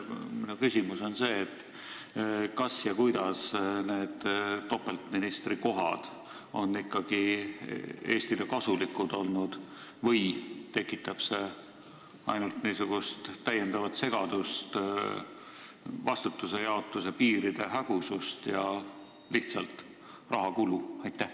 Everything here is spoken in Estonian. Minu küsimus on see: kas need topeltministrikohad on Eestile tõesti kasulikud olnud või tekitab see ainult täiendavat segadust, vastutuse piiride hägusust ja lihtsalt rahakulu?